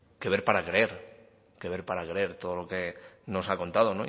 que ver para creer ver para creer todo lo que nos ha contado